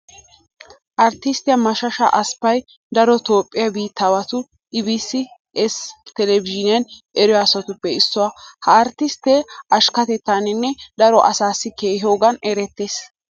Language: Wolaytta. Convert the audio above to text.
Arttisttiya mashasha asppay daro toophphiya biittaawati ii bii esse televizhiiniyan eriyo asatuppe issuwa. Ha arttisttee ashkketettaaninne daro asaassi kehiyogan erettees.